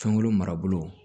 Fɛnko marabolo